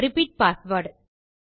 repeat password